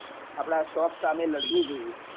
આપડા શોખ સામે લડવું જોઈએ